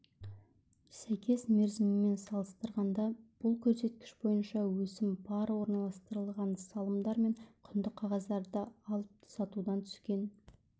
сәйкес мерзімімен салыстырғанда бұл көрсеткіш бойынша өсім бар орналастырылған салымдар мен құнды қағаздарды алып-сатудан түскен